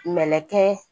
Mɛnɛ kɛ